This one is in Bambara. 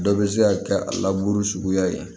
Dɔ bɛ se ka kɛ a laburu suguya ye